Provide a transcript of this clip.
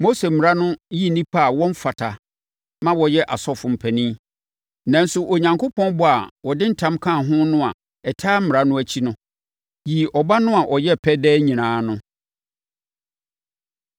Mose Mmara no yi nnipa a wɔmfata ma wɔyɛ asɔfoɔ mpanin, nanso Onyankopɔn bɔ a ɔde ntam kaa ho no a ɛtaa Mmara no akyi no, yii Ɔba no a ɔyɛ pɛ daa nyinaa no.